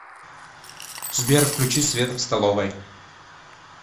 сбер включи свет в столовой